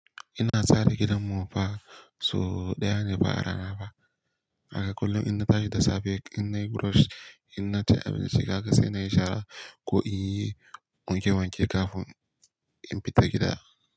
Ina tsara gidanmu fa so ɗaya ne fa a rana fa. Haka kullum inna tashi da safe, in nayi brush, in na ci abinci, kaga sai na yi shara ko in yi wanke wanke kafin in fita gida.